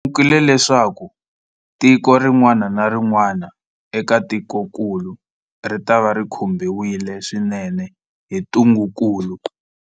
Hi lemukile leswaku tiko rin'wana na rin'wana eka tikokulu ritava ri khumbiwile swinene hi ntungukulu.